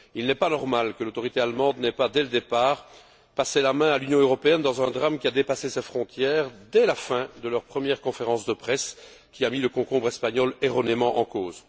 Il n'est pas normal que les autorités allemandes n'aient pas, dès le départ, passé la main à l'Union européenne, dans un drame qui a dépassé leurs frontières, dès la fin de leur première conférence de presse qui a mis le concombre espagnol erronément en cause.